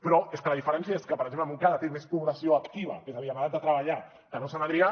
però és que la diferència és que per exemple montcada té més població activa és a dir en edat de treballar que no sant adrià